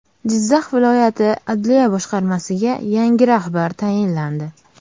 Jizzax viloyati adliya boshqarmasiga yangi rahbar tayinlandi.